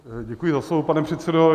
Děkuji za slovo, pane předsedo.